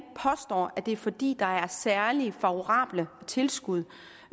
påstår at det er fordi der er særlig favorable tilskud